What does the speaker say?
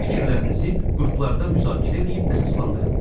Fikirlərinizi qruplarda müzakirə eləyib əsaslandırın.